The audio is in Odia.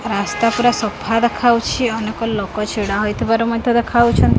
ରାସ୍ତା ପୁରା ସଫା ଦେଖାଯାଉଛି ଅନେକ ଲୋକ ଛିଡ଼ା ହୋଇଥିବାର ମଧ୍ୟ ଦେଖାଯାଉଛନ--